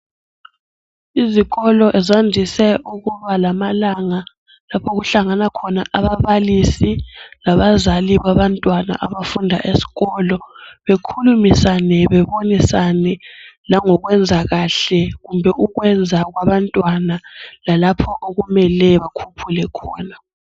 Izikolo zandise ukuba lamalanga lapho okuhlangana khona ababalisi labazali babantwana abafunda esikolo bekhulumisane bebonisane langokwenza kahle kumbe ukwenza kwabantwana lalapho okumele bakhuphuke khona.